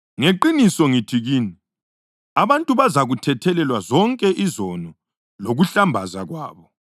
Ngeqiniso ngithi kini, abantu bazakuthethelelwa zonke izono lokuhlambaza kwabo,